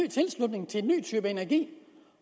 type energi